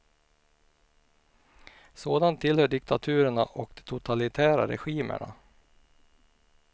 Sådant tillhör diktaturerna och de totalitära regimerna.